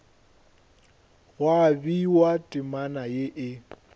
gwa bewa temana ye e